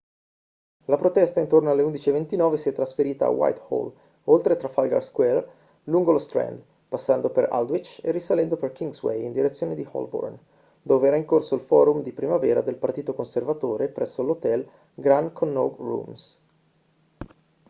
la protesta intorno alle 11:29 si è trasferita a whitehall oltre trafalgar square lungo lo strand passando per aldwych e risalendo per kingsway in direzione di holborn dove era in corso il forum di primavera del partito conservatore presso l'hotel grand connaught rooms